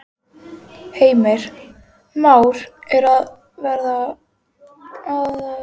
Heimir: Már er að verða allsráðandi á markaðnum?